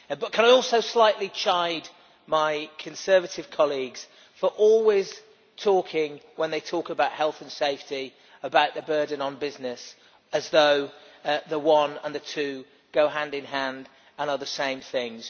But I would also like to slightly chide my Conservative colleagues for always talking, when they talk about health and safety, about the burden on business, as though the one and the other go hand in hand and are the same things.